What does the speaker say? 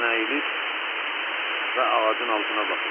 Hərdən əyilir və ağacın altına baxır.